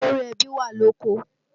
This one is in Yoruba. Olórí ẹbí wà lóko